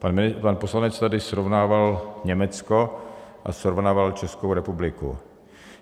Pan poslanec tady srovnával Německo a srovnával Českou republiku.